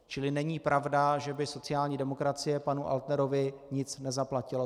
Čili není pravda, že by sociální demokracie panu Altnerovi nic nezaplatila.